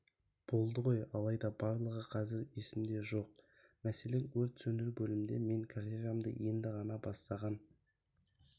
болды ғой алайда барлығы қазір есімде жоқ мәселең өрт сөндіру бөлімінде мен карьерамды енді ғана бастаған